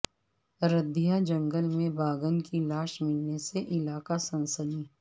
ردھیا جنگل میں باگھن کی لاش ملنے سے علاقہ میں سنسنی